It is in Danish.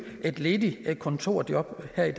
et ledigt kontorjob her i